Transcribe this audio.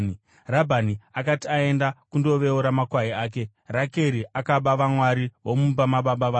Rabhani akati aenda kundoveura makwai ake, Rakeri akaba vamwari vomumba mababa vake.